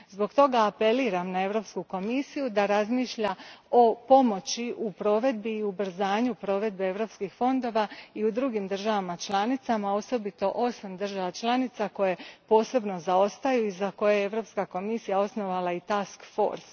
Zbog toga apeliram na Europsku komisiju da razmišlja o pomoći u provedbi i ubrzanju provedbi europskih fondova i u drugim državama članicama, osobito u osam država članica koje posebno zaostaju i za koje je Europska komisija osnovala i Task Force